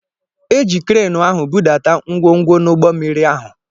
Eji kreenu ahụ budata ngwongwo n'ụgbọ mmiri ahụ